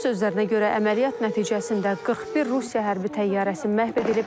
Onun sözlərinə görə əməliyyat nəticəsində 41 Rusiya hərbi təyyarəsi məhv edilib.